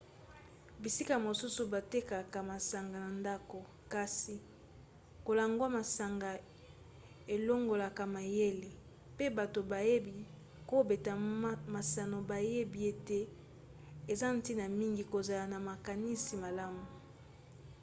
bisika mosusu batekaka masanga na ndako. kasi kolangwa masanga elongolaka mayele pe bato bayebi kobeta masano bayebi ete eza ntina mingi kozala na makanisi malamu